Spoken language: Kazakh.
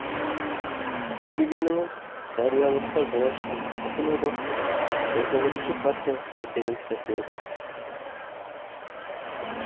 бұл дегеніңіз жариялылыққа жол ашқан бүкілодақтық он тоғызыншы партия конференциясы еді